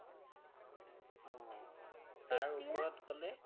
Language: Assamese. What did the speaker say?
অ অ তাৰ ওপৰত গ'লে